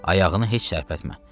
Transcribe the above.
Ayağını heç tərpətmə.